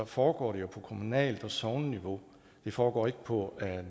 foregår det jo på kommunalt og sogneniveau det foregår ikke på